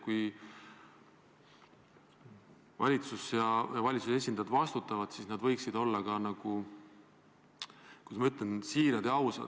Kui valitsus ja valitsuse esindajad vastutavad, siis nad võiksid olla, kuidas ma ütlen, siirad ja ausad.